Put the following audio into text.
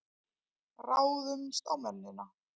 Ráðumst á mennina!